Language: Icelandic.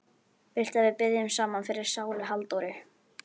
Viltu að við biðjum saman fyrir sálu Halldóru?